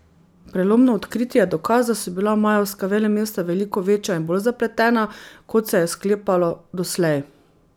Prelomno odkritje je dokaz, da so bila majevska velemesta veliko večja in bolj zapletena, kot se je sklepalo doslej.